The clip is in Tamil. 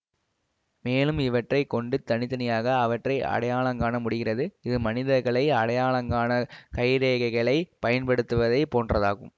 மேலும் இவற்றை கொண்டு தனி தனியாக அவற்றை அடையாளங்காண முடிகிறது இது மனிதர்களை அடையாளங்காண கைரேகைகளைப் பயன்படுத்துவதைப் போன்றதாகும்